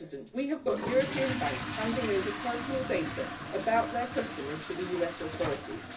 We have got European banks handing over personal data about their customers to the US authorities.